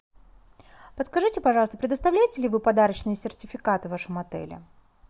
подскажите пожалуйста предоставляете ли вы подарочные сертификаты в вашем отеле